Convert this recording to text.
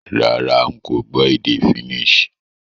Rárá, n ko gbó édé Finnish